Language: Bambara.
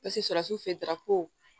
Paseke sarasiw fɛ darapo